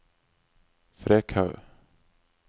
Frekhaug